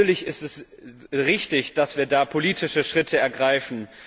Natürlich ist es richtig, dass wir da politische Schritte ergreifen.